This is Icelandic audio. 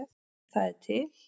Það er til